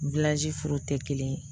furu tɛ kelen ye